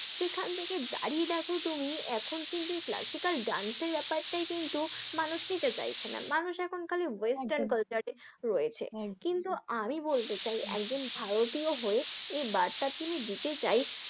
সেখান থেকে দাঁড়িয়ে দেখো তুমি এখন কিন্তু এই ব্যাপারটাই কিন্তু classical dance এর ব্যাপারটাই কিন্তু মানুষ নিতে চাইছে না, মানুষ এখন খালি western culture এ রয়েছে, কিন্তু আমি বলতে চাই একজন ভারতীয় হয়ে এই বার্তাটি আমি দিতে চাই,